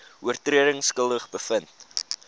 oortredings skuldig bevind